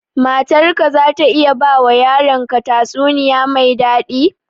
Matar ka za ta iya ba wa yaran ka tatsuniya mai daɗi?